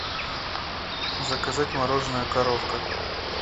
заказать мороженое коровка